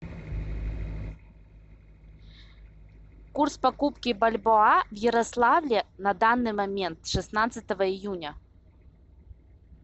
курс покупки бальбоа в ярославле на данный момент шестнадцатого июня